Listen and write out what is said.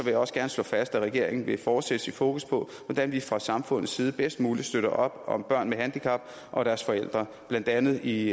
jeg også gerne slå fast at regeringen vil fortsætte sit fokus på hvordan vi fra samfundets side bedst muligt støtter op om børn med handicap og deres forældre blandt andet i